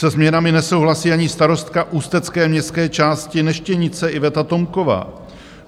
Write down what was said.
Se změnami nesouhlasí ani starostka ústecké městské části Neštěmice Yveta Tomková.